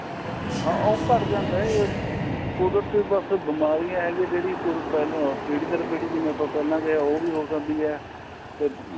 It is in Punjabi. ਹਾਂ ਉਹ ਘੱਟ ਜਾਂਦਾ ਇਹ ਉਹਦੇ ਚ ਬੱਸ ਬਿਮਾਰੀਆਂ ਹੈਗੀ ਜਿਹੜੀ ਪਹਿਲਾਂ ਪੀੜੀ ਦਰ ਪੀੜੀ ਜਿਵੇਂ ਆਪਾਂ ਜੇ ਉਹ ਵੀ ਹੋ ਜਾਂਦੀ ਏ ਤੇ